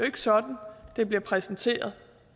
ikke sådan det bliver præsenteret